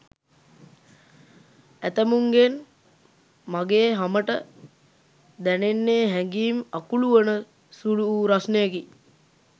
ඇතැමුන්ගෙන් මගේ හමට දැනෙන්නේ හැගීම් අකුළුවන සුළු වූ රස්නයකි.